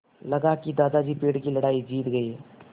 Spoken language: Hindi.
लगा कि दादाजी पेड़ की लड़ाई जीत गए